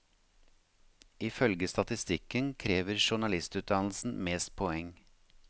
Ifølge statistikken krever journalistutdannelsen mest poeng.